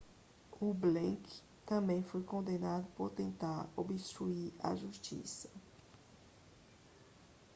o blake também foi condenado por tentar obstruir a justiça